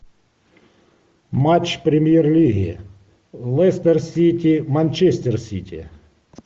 матч премьер лиги лестер сити манчестер сити